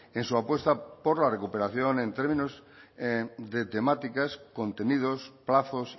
en su apuesta por la recuperación en términos de temáticas contenidos plazos